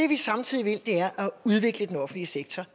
vi samtidig vil er at udvikle den offentlige sektor